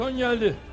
Beton gəldi.